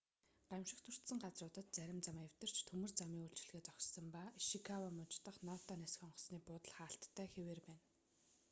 гамшигт өртсөн газруудад зарим зам эвдэрч төмөр замын үйлчилгээ зогссон ба ишикава муж дах ното нисэх онгоцны буудал хаалттай хэвээр байна